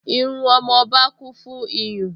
Irú ọmọba kún fún iyùn